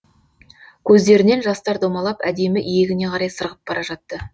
көздерінен жастар домалап әдемі иегіне қарай сырғып бара жатты